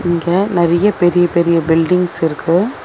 இங்க நெறைய பெரிய பெரிய பில்டிங்ஸ் இருக்கு.